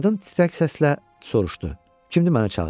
Qadın titrək səslə soruşdu: Kimdir mənə çağıran?